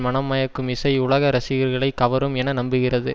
மனம் மயக்கும் இசை உலக ரசிகர்களை கவரும் என நம்புகிறது